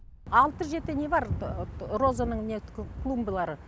алты жеті не бар розаның клумбалары